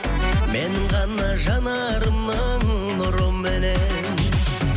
менің ғана жанарымның нұрыменен